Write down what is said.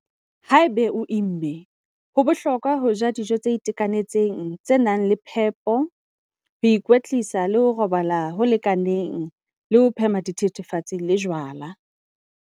Haeba o imme, ho bohlokwa ho ja dijo tse itekanetseng tse nang le phepo, ho ikwetlisa le ho robala ho lekaneng le ho phema dithethefatsi le jwala.